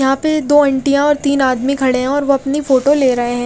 यहाँ पे दो अंटिया और तिन आदमी खड़े है और वो अपनी फोटो ले रहे है।